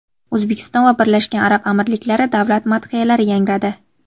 O‘zbekiston va Birlashgan Arab Amirliklari davlat madhiyalari yangradi.